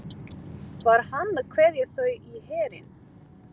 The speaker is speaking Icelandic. Var hann að kveðja þau í herinn?